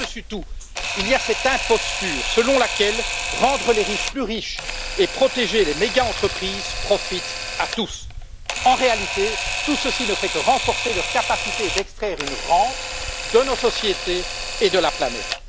Mais par dessus tout, il y a cette imposture selon laquelle rendre les riches plus riches et protéger les méga entreprises, profite à tous. En réalité, tout ceci ne fait que renforcer leurs capacités d'extraire une rente de nos sociétés et de la planète.